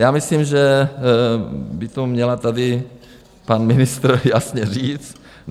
Já myslím, že by to měl tady pan ministr jasně říct.